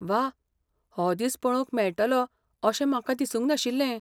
वाह, हो दीस पळोवंक मेळटलो अशें म्हाका दिसूंक नाशिल्लें